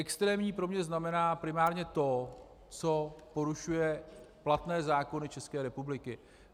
Extrémní pro mě znamená primárně to, co porušuje platné zákony České republiky.